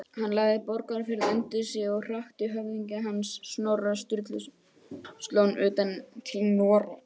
Hann lagði Borgarfjörð undir sig og hrakti höfðingja hans, Snorra Sturluson, utan til Noregs.